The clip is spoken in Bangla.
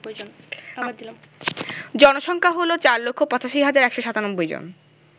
জনসংখ্যা হল ৪৮৫১৯৭ জন